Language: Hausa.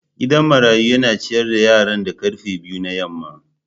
Gidan marayu yana ciyar da yaran da karfe biyu na yamma.